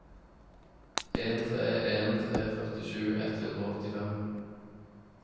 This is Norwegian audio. en tre en tre førtisju ett hundre og åttifem